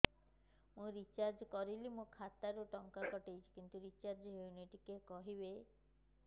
ମୁ ରିଚାର୍ଜ କରିଲି ମୋର ଖାତା ରୁ ଟଙ୍କା କଟି ଯାଇଛି କିନ୍ତୁ ରିଚାର୍ଜ ହେଇନି ଟିକେ କହିବେ